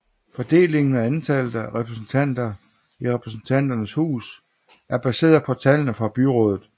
Fordelingen og antallet af repræsentanter i Repræsentanternes hus er baseret på tallene fra byrådet